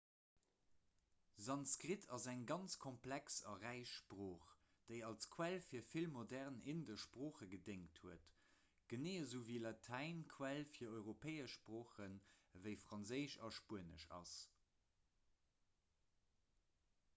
sanskrit ass eng ganz komplex a räich sprooch déi als quell fir vill modern indesch sproochen gedéngt huet genee esou ewéi latäin d'quell fir europäesch sproochen ewéi franséisch a spuenesch ass